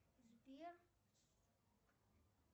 сбер